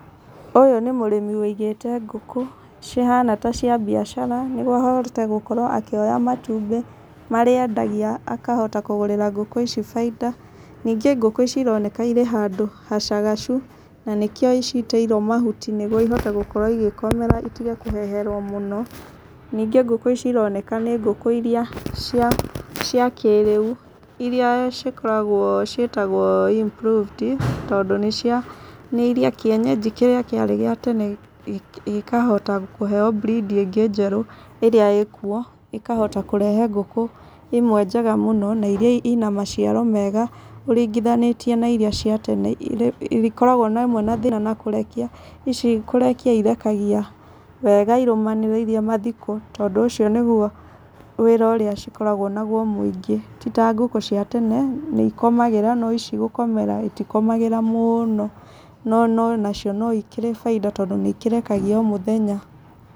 Ũyũ nĩ mũrĩmi wĩigĩte ngũkũ, cihana ta cia biacara, nĩguo ahote gũkorwo akĩoya matumbĩ marĩa endagia akahota kũgũrĩra ngũkũ ici baida. Ningĩ ngũkũ ici ironeka irĩ handũ hacagacu, na nĩkĩo ciitĩirwo mahuti nĩguo ihote gũkorwo igĩkomera itige kũheherwo mũno. Ningĩ ngũkũ ici ironeka nĩ ngũkũ iria cia cia kĩrĩu, irĩa cikoragwo ciĩtagwo improved, tondũ nĩ cia, nĩ irĩa kĩenyenji kĩrĩa kĩarĩ gĩa tene gĩkahota kũheo breed ĩngĩ njerũ ĩrĩa ĩĩ kuo, ĩkahota kũrehe ngũkũ imwe njega mũno , na irĩa ina maciaro mega, ũringithanĩtie na irĩa cia tene, irĩa ikoragwo hamwe na thĩna na kũrekia. Ici kũrekia irekagia wega, irũmanĩrĩirie mathikũ. Tondũ ũcio nĩguo wĩra ũrĩa cikoragwo naguo mũingĩ, ti ta ngũkũ cia tene nĩ ikomagĩra, no ici gũkomera itikomagĩra mũno, no no na cio no ikĩrĩ baida tondũ nĩ ikerekagia o mũthenya.